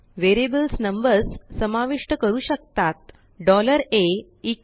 variables numbers सामाविष्ट करू शकतातa100